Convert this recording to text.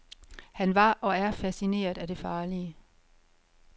Han var, og er, fascineret af det farlige.